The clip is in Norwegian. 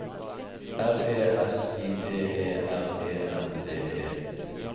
R E S I D E R E N D E